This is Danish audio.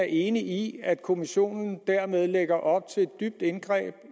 enig i at kommissionen dermed lægger op til et dybt indgreb